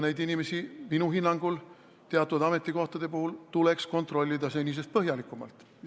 Teatud ametikohtade puhul tuleks inimesi minu hinnangul kontrollida senisest põhjalikumalt.